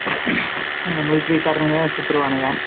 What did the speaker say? அந்த மிலிட்டரிகாரெனுங்க தான் சுட்டுருவாங்க.